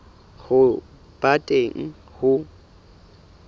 ya ho ba teng ho